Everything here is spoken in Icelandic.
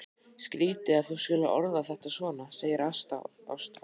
Skrýtið að þú skulir orða þetta svona, segir Ásta hugsi.